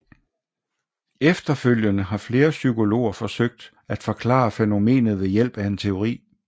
Efterfølgende har flere psykologer forsøgt at forklare fænomenet ved hjælp af en teori